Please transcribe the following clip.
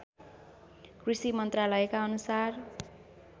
कृषि मन्त्रालयका अनुसार